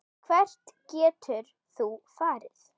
Hvert getur þú farið?